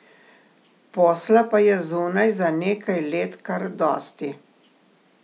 Posla pa je zunaj za nekaj let kar dosti.